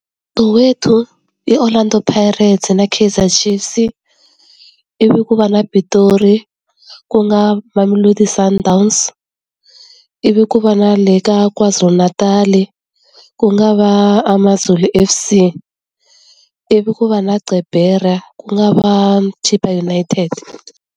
Soweto i Orlando Pirates-e na Kaizer Chiefs-i, ivi ku va na Pitori ku nga Mamelodi Sundowns, ivi ku va na le ka KwaZulu-Natal-i, ku nga va Amazulu FC, ivi ku va na Gqeberha ku nga va Chipa United.